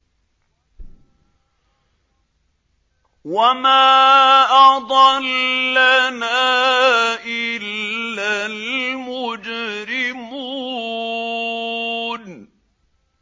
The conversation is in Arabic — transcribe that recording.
وَمَا أَضَلَّنَا إِلَّا الْمُجْرِمُونَ